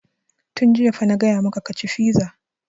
Tun jiya fa na gaya maka ka ci fiza!